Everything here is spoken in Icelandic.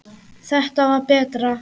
Þetta var betra.